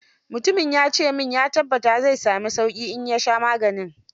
Mutumin ya ce min ya tabbata zai sami sauqi in ya sha maganin.